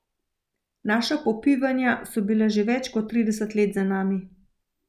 Naša popivanja so bila že več kot trideset let za nami.